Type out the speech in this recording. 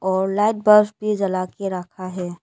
और light bulb भी जलाके रखा है।